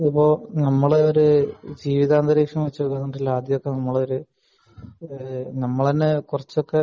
അതിപ്പോ നമ്മളെ ഒരു ജീവിതാന്തരീക്ഷം വച്ചുനോക്കുമ്പോൾ ആദ്യത്തെ ഒരു നമ്മൾ തന്നെ കുറച്ചൊക്കെ